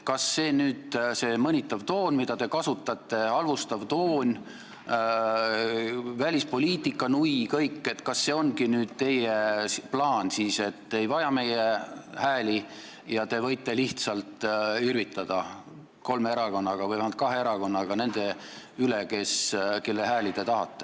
Kas see mõnitav toon, mida te kasutate, halvustav toon, välispoliitikanui ja kõik, ongi nüüd teie plaan, te ei vaja meie hääli ja võite kolme või vähemalt kahe erakonnaga lihtsalt irvitada?